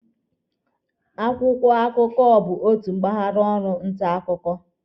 Akwụkwọ akụkọ bụ otu mpaghara ọrụ nta akwụkwọ.